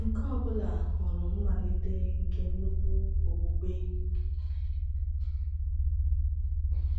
Nke ọ bụla hụrụ mmalite nke nnukwu okpukpe.